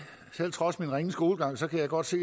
trods min ringe skolegang kan jeg godt se